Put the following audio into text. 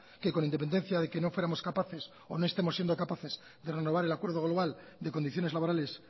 que con independencia de que no fuéramos capaces o no estemos siendo capaces de renovar el acuerdo global de condiciones laborales